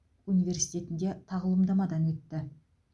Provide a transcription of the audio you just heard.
университетінде тағылымдамадан өтті